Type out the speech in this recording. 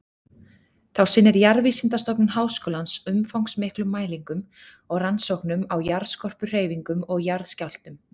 Þá sinnir Jarðvísindastofnun Háskólans umfangsmiklum mælingum og rannsóknum á jarðskorpuhreyfingum og jarðskjálftum.